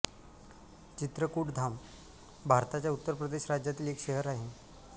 चित्रकूटधाम भारताच्या उत्तर प्रदेश राज्यातील एक शहर आहे